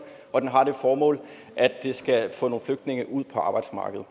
og den har det formål at den skal få nogle flygtninge ud på arbejdsmarkedet